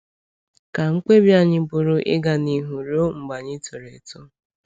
Ka mkpebi anyị bụrụ ‘ịga n’ihu ruo mgbe anyị toro eto.